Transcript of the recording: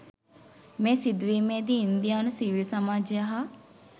මේ සිදුවීමේදී ඉන්දියානු සිවිල් සමාජය හා